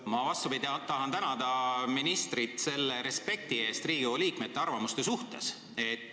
Ma vastupidi tahan tänada ministrit selle respekti eest Riigikogu liikmete arvamuste suhtes.